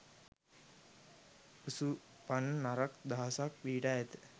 ඔසුපන් නරක දහසයක් පිහිටා ඇත.